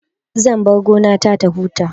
Zan bar gona ta ta huta